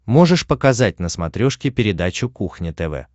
можешь показать на смотрешке передачу кухня тв